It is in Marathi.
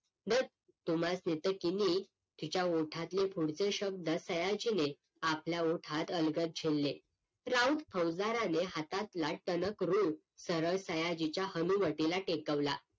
धत तुम्हासनी तर किणी तिच्या ओठातले पुढचे शब्द सयाजीने आपल्या ओठात अलगत झेलले राऊत फुसदाराने हातातला टणक रोळ सरळ सयाजीच्या हनुवटीला टेकवला